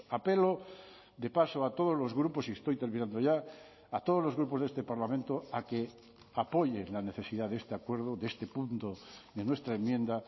apelo de paso a todos los grupos y estoy terminando ya a todos los grupos de este parlamento a que apoyen la necesidad de este acuerdo de este punto de nuestra enmienda